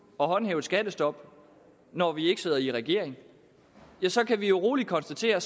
at håndhæve et skattestop når vi ikke sidder i regering ja så kan vi roligt konstatere